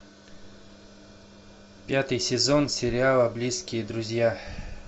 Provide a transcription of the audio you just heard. пятый сезон сериала близкие друзья